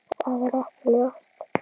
Það er ekki ljóst.